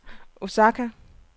Osaka